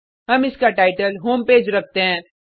हम इसका title home page रखते हैं